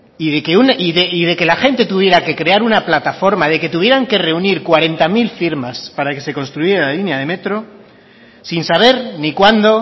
y de que la gente tuviera que crear una plataforma de que tuvieran que reunir cuarenta mil firmas para que se construyera la línea de metro sin saber ni cuándo